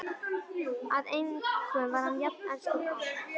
Að engum var hann jafn elskur og Ara.